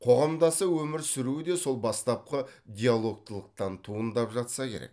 қоғамдаса өмір сүруі де сол бастапқы диалогтылықтан туындап жатса керек